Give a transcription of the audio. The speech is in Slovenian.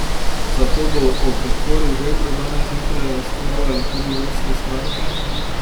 Zato bo o podpori Vebru danes zjutraj razpravljalo tudi vodstvo stranke.